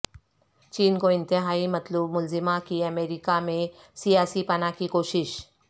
چین کو انتہائی مطلوب ملزمہ کی امریکہ میں سیاسی پناہ کی کوشش